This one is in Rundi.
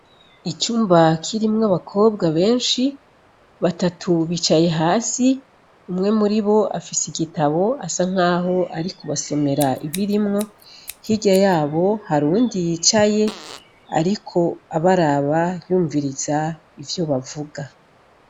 icumba kirimwo abakobwa benshi batatu bicaye hasi umwe muri bo afise igitabo asa nkaho ariko arabasomera ibirimwo hirya yabo hari uwundi yicaye ariko abaraba yumviriza ivyo bavuga